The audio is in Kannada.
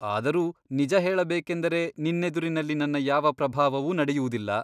ಆದರೂ ನಿಜ ಹೇಳಬೇಕೆಂದರೆ ನಿನ್ನೆದುರಿನಲ್ಲಿ ನನ್ನ ಯಾವ ಪ್ರಭಾವವೂ ನಡೆಯುವುದಿಲ್ಲ.